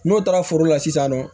N'o taara foro la sisan nɔ